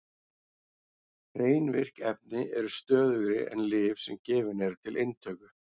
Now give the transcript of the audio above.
Hrein virk efni eru stöðugri en lyf sem gefin eru til inntöku.